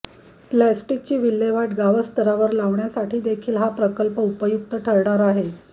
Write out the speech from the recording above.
प्लॅस्टिकची विल्हेवाट गावस्तरावर लावण्यासाठीदेखील हा प्रकल्प उपयुक्त ठरणार आहे